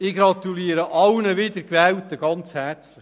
Ich gratuliere allen Wiedergewählten ganz herzlich.